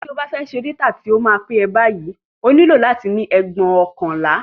Tí o bá fẹ́ dátà tí ó máa pẹ́ báyìí, o nílò láti ní ẹgbóokànlá